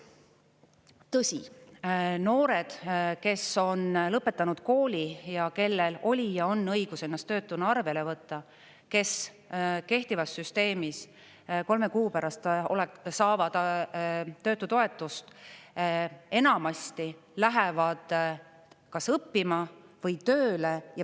Tõsi, noored, kes on lõpetanud kooli ja kellel oli ja on õigus ennast töötuna arvele võtta, kes kehtivas süsteemis kolme kuu pärast saavad töötutoetust, enamasti lähevad kas õppima või tööle.